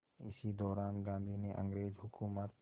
इसी दौरान गांधी ने अंग्रेज़ हुकूमत